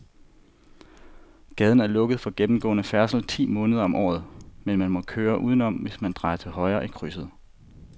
Gaden er lukket for gennemgående færdsel ti måneder om året, men man kan køre udenom, hvis man drejer til højre i krydset.